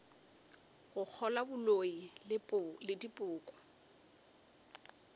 go kgolwa boloi le dipoko